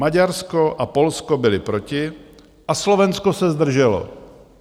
Maďarsko a Polsko byly proti a Slovensko se zdrželo.